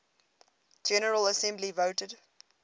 general assembly voted